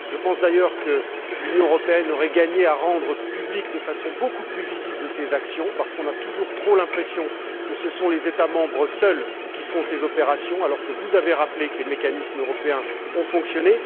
Je pense, d'ailleurs, que l'Union européenne aurait gagné à rendre publiques, de façon beaucoup plus visible, ces actions parce qu'on a toujours trop l'impression que ce sont les États membres seuls qui font ces opérations alors que vous avez rappelé que les mécanismes européens ont fonctionné.